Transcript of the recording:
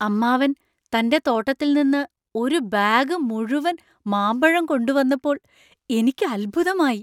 അമ്മാവൻ തന്‍റെ തോട്ടത്തിൽ നിന്ന് ഒരു ബാഗ് മുഴുവൻ മാമ്പഴം കൊണ്ടുവന്നപ്പോൾ എനിക്ക് അത്ഭുതമായി .